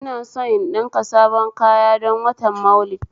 Ina son in ɗinka sabon kaya don watan Maulidi